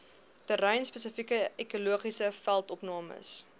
terreinspesifieke ekologiese veldopnames